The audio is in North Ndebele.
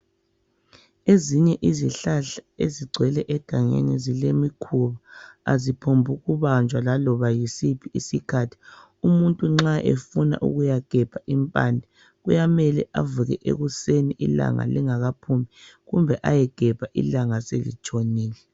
Ezinye izihlahla ezigcwele egangeni zilemikhuba. Aziphongkubanjwa laloba yisiphi isikhathi. Umuntu nxa efuna ukuyagebha impande, kuyamele avuke ekuseni ilanga lingakaphumi kumbe ayegebha ilanga selitshonile.